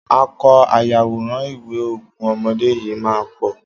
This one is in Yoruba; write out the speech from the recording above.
Akọ ayàwòrán ìwé Ogún Ọmọdé yìí máa ń pọ̀.